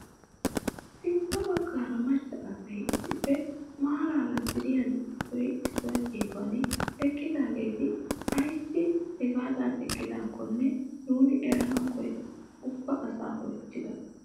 Sintta baggaara macca asay issippe maarara ziiriyaa issoy issuwaa geeduwaan eqqidaageti ayssi hagaadan eqqidakonne nuuni eranawu koyidi ubba asaa oychchida!